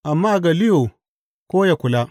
Amma Galliyo ko yă kula.